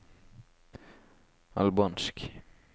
albansk